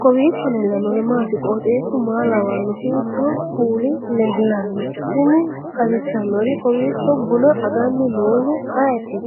kowiicho leellannori maati ? qooxeessu maa lawaanno ? hiitoo kuuli leellanno ? tini xawissannori kowiicho buna aganni noohu ayeti